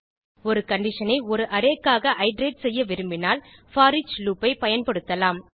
ஒரு கண்டிஷன் ஐ ஒரு arrayக்காக இட்டரேட் செய்ய விரும்பினால் போரிச் லூப் ஐ பயன்படுத்தலாம்